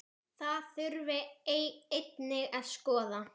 Það þurfi einnig að skoða.